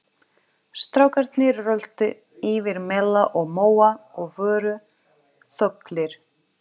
Strákarnir röltu yfir mela og móa og voru þöglir.